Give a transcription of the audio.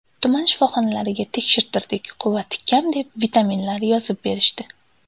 Tuman shifoxonalariga tekshirtirdik, quvvati kam deb vitaminlar yozib berishdi.